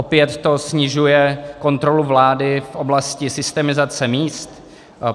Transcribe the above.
Opět to snižuje kontrolu vlády v oblasti systematizace míst.